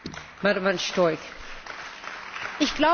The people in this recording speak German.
Ich glaube, dass wir keinesfalls Sexismus brauchen.